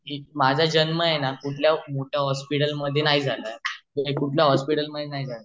माझा जन्म आहे न कुठल्या मोठ्या हॉस्पिटल मध्ये नाही झाला आहे